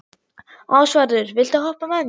Ásvarður, viltu hoppa með mér?